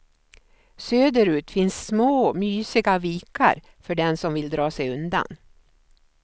Söderut finns små, mysiga vikar för den som vill dra sig undan.